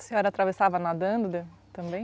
A senhora atravessava nadando também?